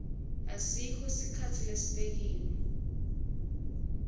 asikho sikhatsi lesibekiwe